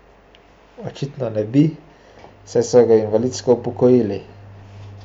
Očitno ne bi, saj so ga invalidsko upokojili.